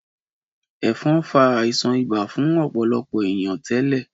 Ẹ̀fọn fa àìsàn ibà fún ọ̀pọ̀lọpọ̀ ènìyàn tẹ́lẹ̀